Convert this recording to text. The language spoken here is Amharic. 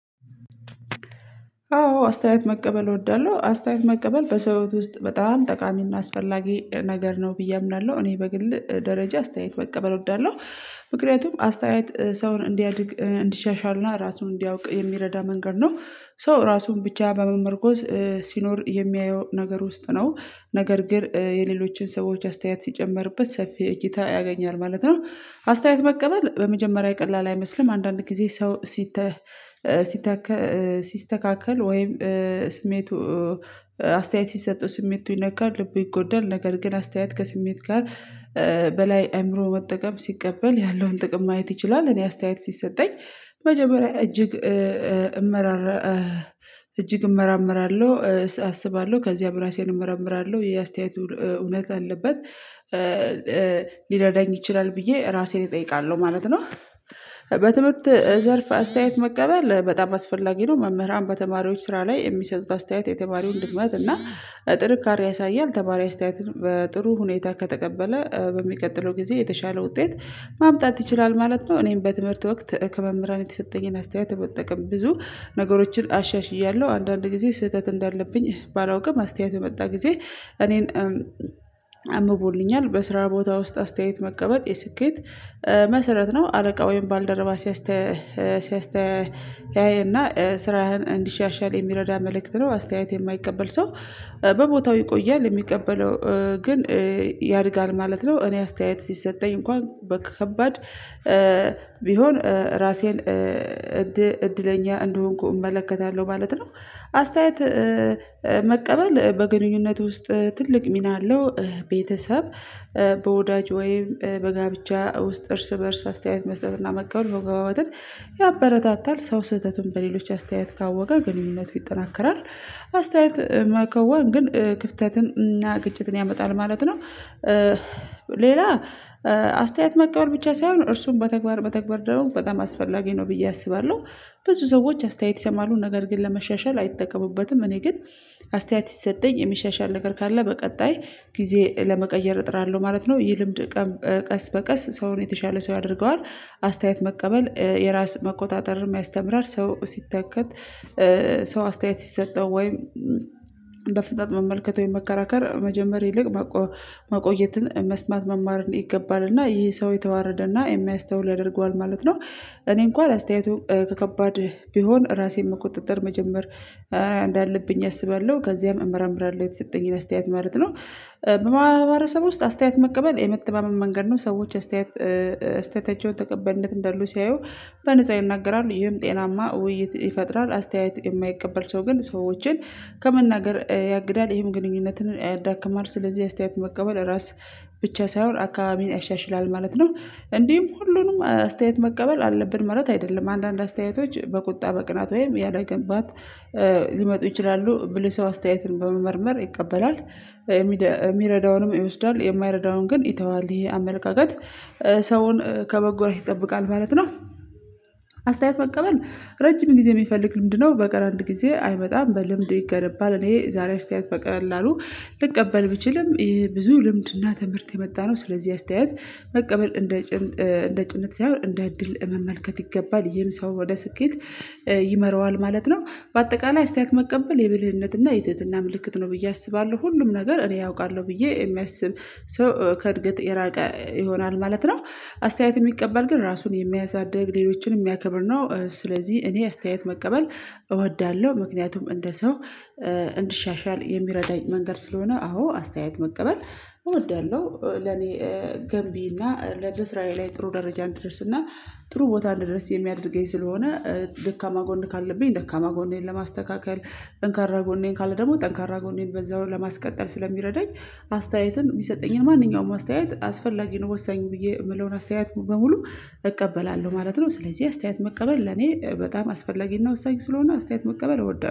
አዎ አስተያየት መቀበል እወዳለሁ። አስተያየት መቀበል በሰው ህይወት ውስጥ በጣም ጠቃሚና አስፈላጊ ነገር ነው ብዬ አምናለሁ እኔ በግል ደረጃ አስተያየት መቀበል እወዳለሁ። ምክንያቱም አስተያየት ሰውን እንዲያድግ እንዲሻሻልና ራሱን እንዲያውቅ የሚረዳ መንገድ ነው። ሰው ራሱን ብቻ በመመርኮዝ ሲኖር የሚያየው ነገር ውስጥ ነው። ነገር ግን የሌሎችን ሰዎች አስተያየት ሲጨመርበት ሰፊ እይታ ያገኛል ማለት ነው። አስተያየት መቀበል በመጀመሪያ ቀላል አይመስልም አንዳንድ ጊዜ ሰው። ሲስተካከል ወይም ስሜቱ አስተያየት ሲሰጡ ስሜቱ ይነካል ልቡ ይጎዳል ነገር ግን አስተያየት ከስሜት ጋር በላይ አእምሮ መጠቀም ሲቀበል ያለውን ጥቅም ማየት ይችላል። እኔ አስተያየት ሲሰጠኝ መጀመሪያ እጅግ እመራመራለሁ አስባለሁ ከዚያም ራሴን እመረምራለሁ ይህ አስተያየቱ እውነት አለበት ሊረዳኝ ይችላል ብዬ ራሴን እጠይቃለሁ ማለት ነው። በትምህርት ዘርፍ አስተያየት መቀበል በጣም አስፈላጊ ነው። መምህራን በተማሪዎች ስራ ላይ የሚሰጡት አስተያየት የተማሪውን ድክመት እና ጥንካሬ ያሳያል። ተማሪ አስተያየትን በጥሩ ሁኔታ ከተቀበለ በሚቀጥለው ጊዜ የተሻለ ውጤት ማምጣት ይችላል ማለት ነው። እኔም በትምህርት ወቅት ከመምህራን የተሰጠኝን አስተያየት መጠቀም ብዙ ነገሮችን አሻሽያለሁ። አንዳንድ ጊዜ ስህተት እንዳለብኝ ባላውቅም አስተያየት የመጣ ጊዜ እኔን አምቦልኛል። በስራ ቦታ ውስጥ አስተያየት መቀበል የስኬት መሰረት ነው። አለቃ ወይም ባልደረባ ሲያስተያይ ሲያስተያየና ስራህን እንዲሻሻል የሚረዳ መልእክት ነው። አስተያየት የማይቀበል ሰው በቦታው ይቆያል የሚቀበለው ግን ያድጋል ማለት ነው። እኔ አስተያየት ሲሰጠኝ እንኳን በከባድ ቢሆን ራሴን እድለኛ እንደሆንኩ እመለከታለሁ ማለት ነው። አስተያየት መቀበል በግንኙነት ውስጥ ትልቅ ሚና አለው። ቤተሰብ በወዳጅ ወይም በጋብቻ ውስጥ እርስ በእርስ አስተያየት መስጠትና መቀበል መግባባትን ያበረታታል። ሰው ስህተቱን በሌሎች አስተያየት ካወቀ ግንኙነቱ ይጠናከራል። አስተያየት መከወን ግን ክፍተትን እና ግጭትን ያመጣል ማለት ነው። ሌላ አስተያየት መቀበል ብቻ ሳይሆን እርሱን በተግባር መተግባር ደግሞ በጣም አስፈላጊ ነው ብዬ አስባለሁ። ብዙ ሰዎች አስተያየት የማሉ ነገር ግን ለመሻሻል አይጠቀሙበትም። እኔ ግን አስተያየት ሲሰጠኝ የሚሻሻል ነገር ካለ በቀጣይ ጊዜ ለመቀየር እጥራለሁ ማለት ነው። ይህ ልምድ ቀን በቀን ቀስ በቀስ ሰውን የተሻለ ሰው ያደርገዋል። አስተያየት መቀበል የራስ መቆጣጠርንም ያስተምራል። ሰው ሲተከት ሰው አስተያየት ሲሰጠው በፍጠጥ መመልከት ወይም መከራከር መጀመር ይልቅ መቆየትን መስማት መማርን ይገባል እና ይሄ ሰው የተዋረደ እና የሚያስተውል ያደርገዋል ማለት ነው። እኔ እንኳን አስተያየቱን ከከባድ ቢሆን ራሴን መቆጣጠር መጀመር እንዳለብኝ አስባለሁ ከዚያም እመረምራለሁኝ የተሰጠኝን አስተያየት ማለት ነው። በማህበረሰብ ውስጥ አስተያየት መቀበል የመተማመን መንገድ ነው። ሰዎች አስተያየት አስተያየታቸው ተቀባይነት እንደለው ሲያዩ በነፃ ይናገራሉ ይህም ጤናማ ውይይት ይፈጥራል። አስተያየት የማይቀበል ሰው ግን ሰዎችን ከመናገር ያግዳል ይህም ግንኙነትን ያዳክማል። ስለዚህ አስተያየት መቀበል ራስ ብቻ ሳይሆን አካባቢን ያሻሽላል ማለት ነው። እንዲሁም ሁሉንም አስተያየት መቀበል አለብን ማለት አይደለም። አንዳንድ አስተያየቶች በቁጣ በቅናት ወይም ያላግባብ ሊመጡ ይችላሉ ብልህ ሰው አስተያየትን በመመርመር ይቀበላል። የሚረዳውንም ይወስዳል የማይረዳውን ግን ይተዋል ይሄ አመለካከት ሰውን ከመጎዳት ይጠብቃል ማለት ነው። አስተያየት መቀበል ረጅም ጊዜ የሚፈልግ ልምድ ነው በቀር አንድ ጊዜ አይመጣም። በልምድ ይገነባል። እኔ ዛሬ አስተያየት በቀላሉ ልቀበል ብችልም ይሄ ብዙ ልምድና ትምህርት የመጣ ነው። ስለዚህ አስተያየት መቀበል እንደ እንደ ጭነት ሳይሆን እንደ እድል መመልከት ይገባል ይሄም ሰውን ወደ ስኬት ይመራዋል ማለት ነው። በአጠቃላይ አስተያየት መቀበል የብልህነትና የትህትና ምልክት ነው ብዬ አስባለሁ። ሁሉም ነገር እኔ አውቃለሁ ብዬ የሚያስብ ሰው ከእድገት የራቀ ይሆናል ማለት ነው። አስተያየት የሚቀበል ግን ራሱን የሚያሳድግ ሌሎችን የሚያከብር ነው። ስለዚህ እኔ አስተያየት መቀበል እወዳለሁ ምክንያቱም እንደ ሰው እንድሻሻል የሚረዳኝ መንገድ ስለሆነ አዎ አስተያየት መቀበል እወዳለሁ። ለኔ ገንቢ እና ለስራዬ ላይ ጥሩ ደረጃ እንድደርስ እና ጥሩ ቦታ እንድደርስ የሚያደርገኝ ስለሆነ ደካማ ጎን ካለብኝ ደካማ ጎኔን ለማስተካከል ጠንካራ ጎኔ ካለ ደግሞ ጠንካራ ጎኔን በዛውን ለማስተካከል ስለሚረዳኝ አስተያየትን የሚሰጠኝን ማንኛውም አስተያየት አስፈላጊ ነው ወሳኝ ብዬ የምለውን አስተያየት በሙሉ እቀበላለሁ ማለት ነው። ስለዚህ አስተያየት መቀበል ለኔ በጣም አስፈላጊ ነው። ወሳኝ ስለሆነ አስተያየት መቀበል እወዳለሁ።